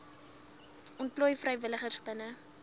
ontplooi vrywilligers binne